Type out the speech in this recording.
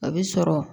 A bɛ sɔrɔ